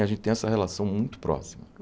A gente tem essa relação muito próxima.